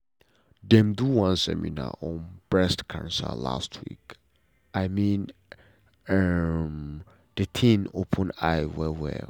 dem do one seminar on breast cancer last week and i mean um the thing open eye well well.